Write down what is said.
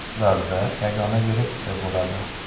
Ularda yagona direksiya bo‘ladi.